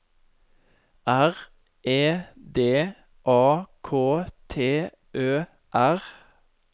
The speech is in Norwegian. R E D A K T Ø R